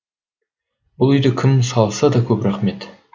бұл үйді кім салса да көп рақмет